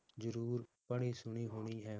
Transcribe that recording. ਜਰੂਰ ਪੜ੍ਹੀ ਸੁਣੀ ਹੋਣੀ ਹੈ।